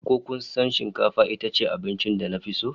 Ko kasan shikafa itace abincin da nafi so?